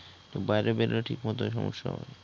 বাইরে বেরোলে ঠিকমতই সমস্যা হবে ।